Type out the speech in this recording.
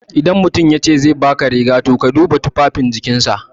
Idan mutum yace zai baka riga, to ka duba tufafin jikinsa.